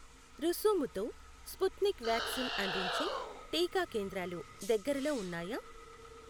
రుసుముతో Sputnik vaccine అందించే టీకా కేంద్రాలు దగ్గరలో ఉన్నాయా?